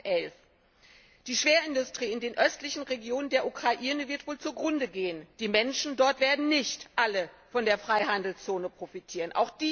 2011. Die Schwerindustrie in den östlichen Regionen der Ukraine wird wohl zugrunde gehen, die Menschen dort werden nicht alle von der Freihandelszone profitieren.